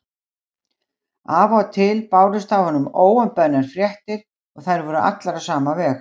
Af og til bárust af honum óumbeðnar fréttir og þær voru allar á sama veg.